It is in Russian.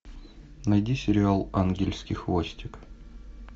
найди сериал ангельский хвостик